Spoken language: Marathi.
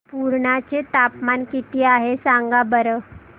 पुर्णा चे तापमान किती आहे सांगा बरं